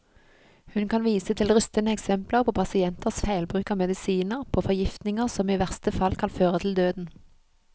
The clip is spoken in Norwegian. Hun kan vise til rystende eksempler på pasienters feilbruk av medisiner, på forgiftninger som i verste fall kan føre til døden.